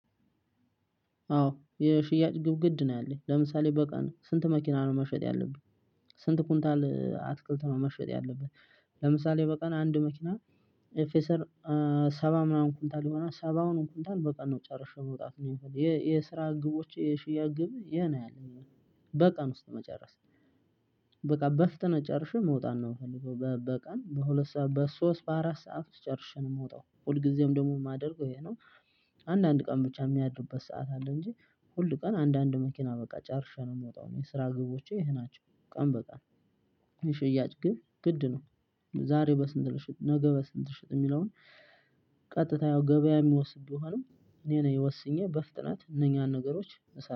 አዎ የሽያጭ ግብ ግድ ነው ያለኝ። ለምሳሌ በቀን ስንት መኪና ነው መሸጥ ያለብኝ? ስንት ኩንታል አትክልት ነው መሸጥ ያለበት። ለምሳሌ በቀን አንድ መኪና ኤፍኤሳር ሰባ ምናምን ኩንታል ይሆናል ሰባውንም ኩንታል በቀን ነው ጨርሼ መውጣት የምፈልግ። የስራ ግቦቼ የሽያጭ ግብ ይሄ ነው ያለኝ እኔ በቀን ውስጥ መጨረስ። በቃ በፍጥነት ጨርሼ መውጣት ነው የምፈልገው በቀን በሁለት ሰዓት በሶስት በአራት ሰዓት ውስጥ ጨርሼ ነው የምወጣው። ሁልጊዜም ደግሞ የማደርገው ይሄ ነው። አንዳንድ ቀን ብቻ የሚያድርበት ሰዓት አለ እንጂ ሁል ቀን አንዳንድ መኪና በቃ ጨርሼ ነው የምወጣው እኔ የስራ ግቦቼ ይሄ ናቸው። ቀን በቀን የሽያጭ ግብ ግድ ነው። ዛሬ በስንት ልሽጥ ነገ በስንት ልሽጥ የሚለውን ቀጥታ ያው ገበያ የሚወስን ቢሆንም እኔ ነኝ ወስኜ በፍጥነት እነኛን ነገሮች እሰራ